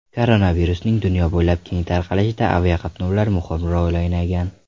Koronavirusning dunyo bo‘ylab keng tarqalishida aviaqatnovlar muhim rol o‘ynagan.